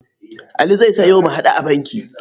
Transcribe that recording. Ali zai sayo mu-haɗu-a-banki.